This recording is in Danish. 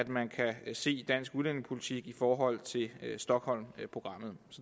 man kan se dansk udlændingepolitik i forhold til stockholmprogrammet